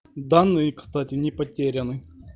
данные кстати не потеряны